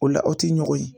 O la aw ti ɲɔgɔn ye